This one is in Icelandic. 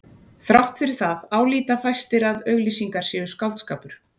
Þrátt fyrir það álíta fæstir að auglýsingar séu skáldskapur.